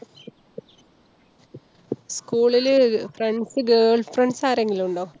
school ല് friends girlfriends ആരെങ്കിലും ഉണ്ടോ?